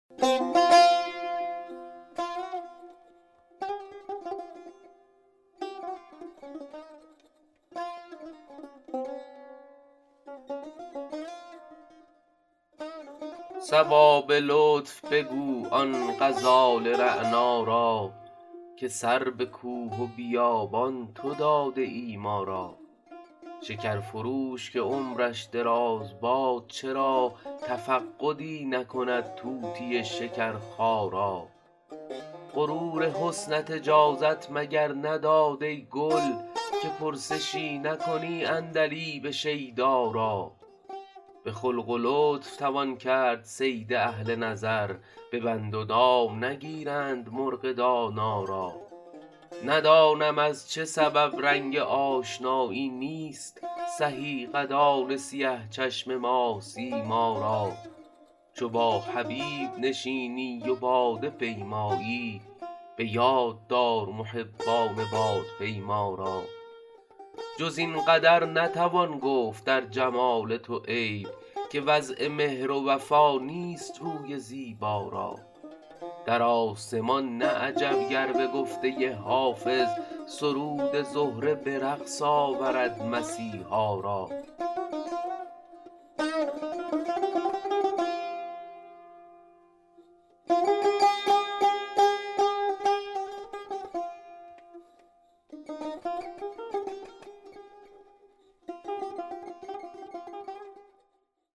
صبا به لطف بگو آن غزال رعنا را که سر به کوه و بیابان تو داده ای ما را شکر فروش که عمرش دراز باد چرا تفقدی نکند طوطی شکرخا را غرور حسنت اجازت مگر نداد ای گل که پرسشی نکنی عندلیب شیدا را به خلق و لطف توان کرد صید اهل نظر به بند و دام نگیرند مرغ دانا را ندانم از چه سبب رنگ آشنایی نیست سهی قدان سیه چشم ماه سیما را چو با حبیب نشینی و باده پیمایی به یاد دار محبان بادپیما را جز این قدر نتوان گفت در جمال تو عیب که وضع مهر و وفا نیست روی زیبا را در آسمان نه عجب گر به گفته حافظ سرود زهره به رقص آورد مسیحا را